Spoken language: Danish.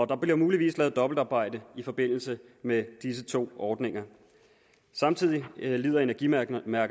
der bliver muligvis lavet dobbeltarbejde i forbindelse med disse to ordninger samtidig lider energimærkerne af